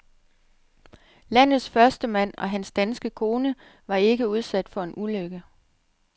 Landets førstemand og hans danske kone var ikke udsat for en ulykke.